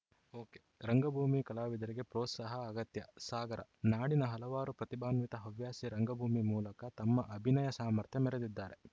ಒಕೆರಂಗಭೂಮಿ ಕಲಾವಿದರಿಗೆ ಪ್ರೋತ್ಸಾಹ ಅಗತ್ಯ ಸಾಗರ ನಾಡಿನ ಹಲವಾರು ಪ್ರತಿಭಾನ್ವಿತರು ಹವ್ಯಾಸಿ ರಂಗಭೂಮಿ ಮೂಲಕ ತಮ್ಮ ಅಭಿನಯ ಸಾಮರ್ಥ್ಯ ಮೆರೆದಿದ್ದಾರೆ